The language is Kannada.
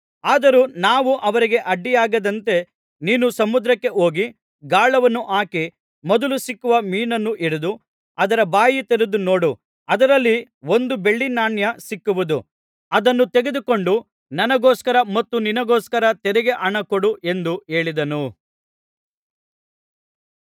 ಆದರೂ ನಾವು ಅವರಿಗೆ ಅಡ್ಡಿಯಾಗದಂತೆ ನೀನು ಸಮುದ್ರಕ್ಕೆ ಹೋಗಿ ಗಾಳವನ್ನು ಹಾಕಿ ಮೊದಲು ಸಿಕ್ಕುವ ಮೀನನ್ನು ಹಿಡಿದು ಅದರ ಬಾಯಿ ತೆರೆದು ನೋಡು ಅದರಲ್ಲಿ ಒಂದು ಬೆಳ್ಳಿ ನಾಣ್ಯ ಸಿಕ್ಕುವುದು ಅದನ್ನು ತೆಗೆದುಕೊಂಡು ನನಗೋಸ್ಕರ ಮತ್ತು ನಿನಗೋಸ್ಕರ ತೆರಿಗೆ ಹಣ ಕೊಡು ಎಂದು ಹೇಳಿದನು